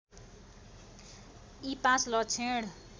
यी पाँच लक्षण